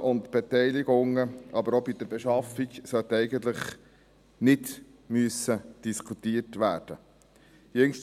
und Beteiligungen, aber auch bei der Beschaffung, sollte nicht diskutiert werden müssen.